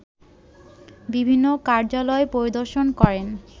বিভিন্ন কার্যালয় পরিদর্শন করেন